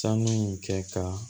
Sanu in kɛ ka